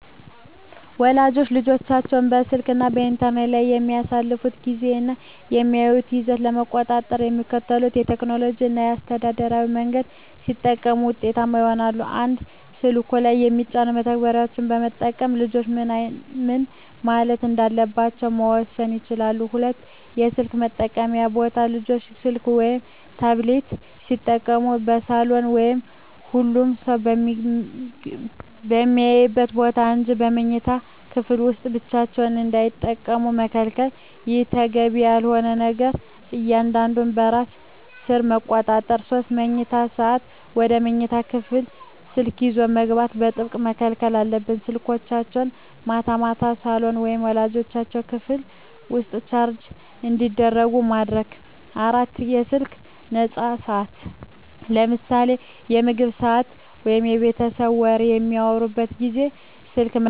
ወላጆች ልጆቻቸው በስልክ እና በኢንተርኔት ላይ የሚያሳልፉትን ጊዜ እና የሚያዩትን ይዘት ለመቆጣጠር የሚከተሉትን ቴክኖሎጂያዊ እና አስተዳደራዊ መንገዶች ቢጠቀሙ ውጤታማ ይሆናል፦ 1)ስልኩ ላይ የሚጫኑ መተግበሪያዎችን በመጠቀም ልጆች ምን ማየት እንዳለባቸው መወሰን ይቻላል። 2)የስልክ መጠቀምያ ቦታ: ልጆች ስልክ ወይም ታብሌት ሲጠቀሙ በሳሎን ወይም ሁሉም ሰው በሚያይበት ቦታ እንጂ በመኝታ ክፍል ውስጥ ብቻቸውን እንዳይጠቀሙ መከልከል። ይህ ተገቢ ያልሆነ ነገር እንዳያዩ በራስ ሰር ይቆጣጠራል። 3)የመኝታ ሰዓት: ወደ መኝታ ክፍል ስልክ ይዞ መግባት በጥብቅ መከልከል አለበት። ስልኮች ማታ ማታ ሳሎን ወይም ወላጆች ክፍል ውስጥ ቻርጅ እንዲደረጉ ማድረግ። 4)ከስልክ ነፃ ሰዓታት: ለምሳሌ በምግብ ሰዓት ወይም የቤተሰብ ወሬ በሚወራበት ጊዜ ስልክ መጠቀም እንደማይፈቀድ ህግ ማውጣት።